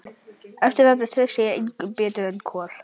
Eftir þetta treysti ég engum betur en Kol.